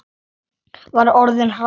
Var orðin hrædd!